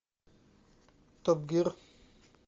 топ гир